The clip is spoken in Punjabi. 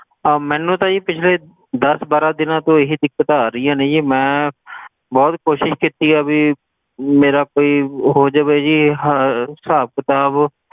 ਆਹ ਮੈਨੂੰ ਤਾਂ ਜੀ ਪਿਛਲੇ ਦਸ ਬਾਰਾਂ ਦਿਨਾਂ ਤੋਂ ਇਹ ਦਿੱਕਤਾਂ ਆ ਰਹੀਆਂ ਨੇ ਜੀ ਮੈਂ ਬਹੁਤ ਕੋਸ਼ਿਸ ਕੀਤੀ ਆ ਵੀ ਮੇਰਾ ਕੋਈ ਹੋ ਜਾਵੇ ਜੀ ਇਹ ਹ~ ਹਿਸਾਬ ਕਿਤਾਬ,